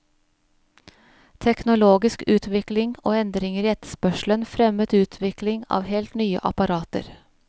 Teknologisk utvikling og endringer i etterspørselen fremmet utvikling av helt nye apparater.